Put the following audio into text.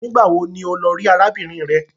Nigbawo ní o ló rí arábìnrin rè?